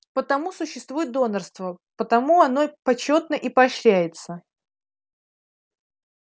потому существует донорство потому оно почётно и поощряется